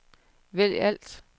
vælg alt